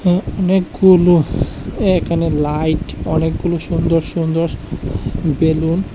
এ্যাঁ অনেকগুলোফ একানে লাইট অনেকগুলো সুন্দর সুন্দর বেলুন--